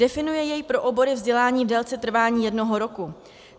Definuje jej pro obory vzdělání v délce trvání jednoho roku.